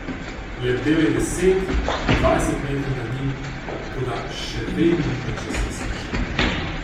Lebdel je deset, dvajset metrov nad njim, toda še vedno ni ničesar slišal.